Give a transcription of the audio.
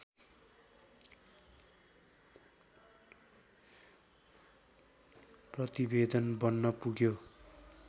प्रतिवेदन बन्न पुग्यो